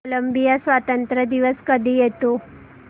Colombia स्वातंत्र्य दिवस कधी येतो